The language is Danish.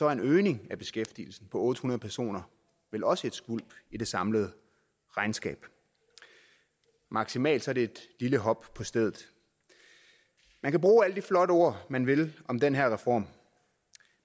er en øgning af beskæftigelsen på otte hundrede personer vel også et skvulp i det samlede regnskab maksimalt er det et lille hop på stedet man kan bruge alle de flotte ord man vil om den her reform